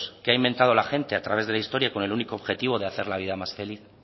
que ha inventado la gente a través de la historia con el único objetivo de hacer la vida más feliz